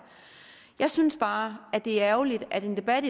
jeg synes bare det er ærgerligt at den debat